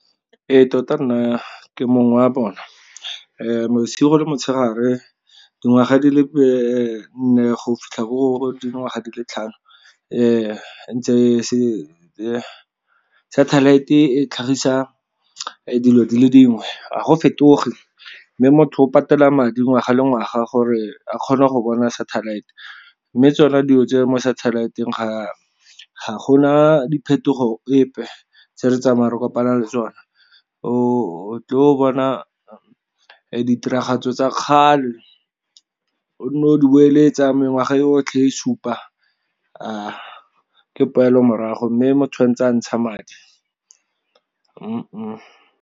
Ee, tota nna ke mongwe wa bona bosigo le motshegare dingwaga di le nne go fitlha gore dingwaga di le tlhano satellite e tlhagisa dilo dile dingwe a go fetoge, mme motho o patela madi ngwaga le ngwaga gore a kgone go bona satellite. Mme tsona dilo tse mo satellite-ng ga gona diphetogo epe tse re tsamayang re kopana le tsone. O bona ditiragatso tsa kgale o ne o di boeletsa mengwaga e otlhe e supa ke poelo morago, mme motho tshwanetse a ntsha madi .